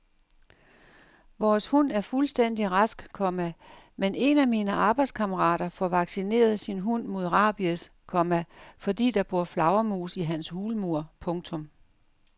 Vores hund er fuldstændig rask, komma men en af mine arbejdskammerater får vaccineret sin hund mod rabies, komma fordi der bor flagermus i hans hulmur. punktum